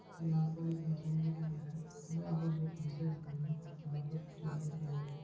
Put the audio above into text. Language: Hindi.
यहाँ पर एक मुरूम दिखाई दे रहा है जहाँ पर दो कुर्सियाँ दिख रही है। यहाँ कुछ टेबल दिखाई दे रहे है।